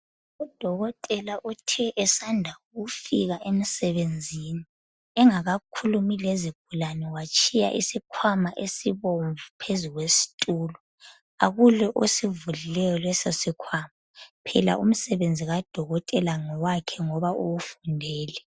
Udokotela uthe esanda ukufika emsebenzini engakhulumi lezigulane watshiya isikhwama esibomvu phezu kwesitulo. Akula osivulileyo lesosikhwama phela umsebenzi kadokotela ngowakhe ngoba uwufundele.